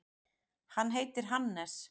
Hann heitir Hannes.